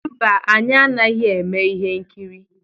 Mba, anyị anaghị eme ihe nkiri.